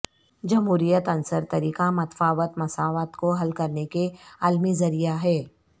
جمہوریت عنصر طریقہ متفاوت مساوات کو حل کرنے کے عالمی ذریعہ ہے